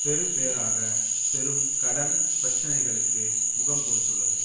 பெறுபேறாக பெரும் கடன் பிரச்சினைகளுக்கு முகம் கொடுத்துள்ளது